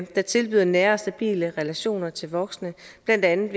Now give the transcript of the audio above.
der tilbyder nære og stabile relationer til voksne blandt andet